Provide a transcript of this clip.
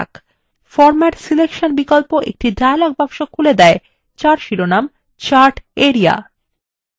format selection বিকল্প একটি dialog box খুলে দেয় যার শিরোনাম chart area